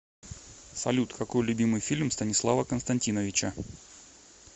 салют какой любимый фильм станислава константиновича